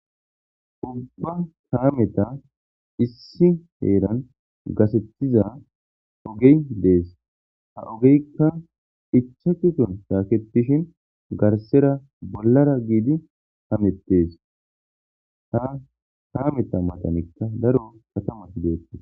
Kare biiththan issi heeran gatheththiza ogee beththees; ha ogeeka ichchashusan shaakeththidi garsseera bollara gididi hameththees; daro kathamaththikka beeththoosona.